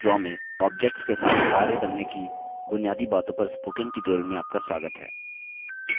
Libre office draw में objects के साथ कार्य करने की बुनियादी बातों पर spoken tutorial में आपका स्वागत है